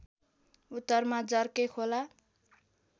उत्तरमा जर्के खोला